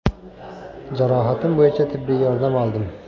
Jarohatim bo‘yicha tibbiy yordam oldim.